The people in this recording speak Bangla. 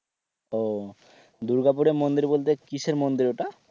ও দুর্গাপুরের মন্দির বলতে কিসের মন্দির ওটা?